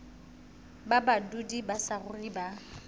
ba badudi ba saruri ba